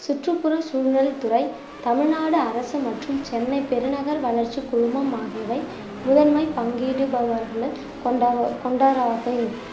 சுற்றுப்புற சூழல் துறை தமிழ்நாடு அரசு மற்றும் சென்னை பெருநகர் வளர்ச்சி குழுமம் ஆகியவை முதன்மை பங்கீடுபவர்கள் கொண்~ கொண்டவராகும்